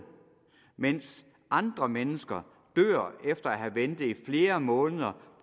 mens andre mennesker dør efter at have ventet i flere måneder